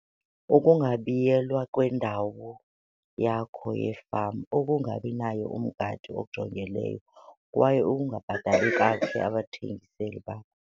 Ukungabiyelwa kwendawo yakho yefama, ukungabi naye umgadi ojongileyo kwaye ukungabhatali kakuhle abathengiseli bakho.